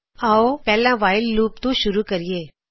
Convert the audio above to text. ਆਓ ਪਹਿਲਾ while loop ਤੋ ਸ਼ੁਰੂ ਕਰੀਏ